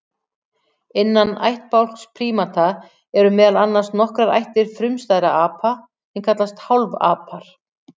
Innan ættbálks prímata eru meðal annars nokkrar ættir frumstæðra apa sem kallast hálfapar.